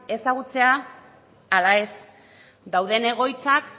ezagutzea ala ez dauden egoitzak